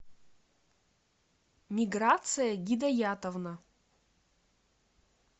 миграция гидаятовна